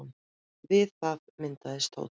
Við það myndaðist tónn.